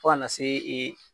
Fɔ ka na se e